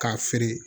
K'a feere